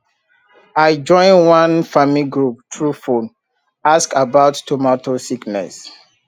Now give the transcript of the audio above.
i join one farming group through phone ask about tomato sickness